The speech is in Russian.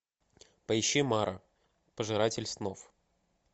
поищи мара пожиратель снов